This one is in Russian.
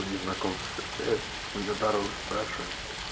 у незнакомцев встречаешь у нее дорогу спрашиваешь